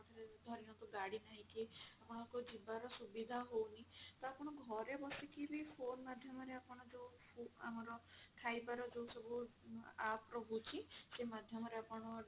ଧରିନିଅନ୍ତୁ ଗାଡି ନାହିଁ କି ଆପଣଙ୍କ ଯିବା ର ସୁବିଧା ହଉନି ତ ଆପଣ ଘରେ ବସିକି ବି phone ମାଧ୍ୟମ ରେ ଆପଣ ଯଉ ଆମର ଖାଇବା ର ଯଉ ସବୁ app ରହୁଛି ସେଇ ମାଧ୍ୟମ ରେ ଆପଣ